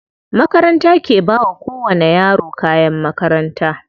Makaranta ke bawa ko wani yaro kayan makaranta.